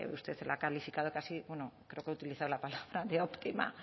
usted la ha calificado casi bueno creo que ha utilizado la palabra de óptima